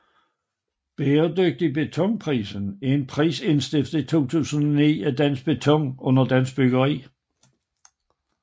Bæredygtig Beton Prisen er en pris indstiftet 2009 af Dansk Beton under Dansk Byggeri